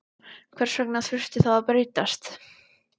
Hvers vegna þurfti það að breytast?